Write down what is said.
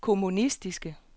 kommunistiske